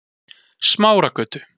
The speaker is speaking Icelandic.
Smáragötu